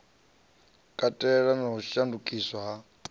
katela na u shandukiswa ha